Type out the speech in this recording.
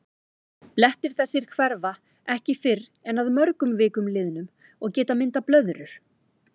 Blettir þessir hverfa ekki fyrr en að mörgum vikum liðnum og geta myndað blöðrur.